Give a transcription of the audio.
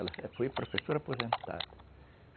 Ela foi professora aposentada.